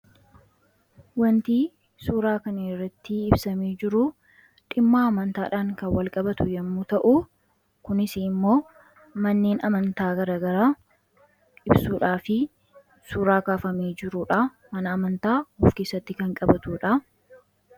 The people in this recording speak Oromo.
Wanti suuraa kanirratti ibsame jiruu dhimmaa amantaadhaan kan walqabatu yommuu ta'u kunis immoo manneen amantaa garagara ibsuudhaa fi suuraa kaafame jirudha mana amantaa of kessatti kan qabatuudha.